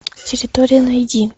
территория найди